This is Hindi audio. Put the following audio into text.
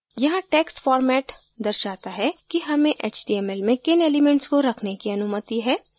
यहाँ text format दर्शाता है कि हमें html में किन elements को रखने की अनुमति है